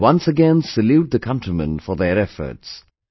I once again salute the countrymen for their efforts